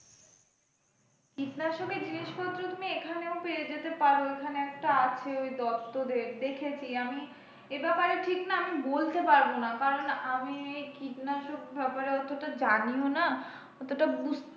কীটনাশকের জিনিসপত্র তুমি এখানেও পেয়ে যেতে পারো এখানে একটা আছে ওই দত্ত দেখেছি আমি এই ব্যাপারে ঠিক না আমি বলতে পারব না কারন আমি এই কীটনাশক ব্যাপারে অতটা জানিও না অতটা বুঝতেও,